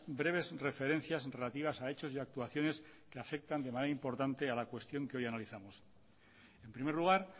breves referencias relativas a hechos y actuaciones que afectan de manera importante a la cuestión que hoy analizamos en primer lugar